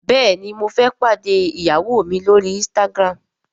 béèni mo fé pàdé ìyàwó mí l'ori Instagram.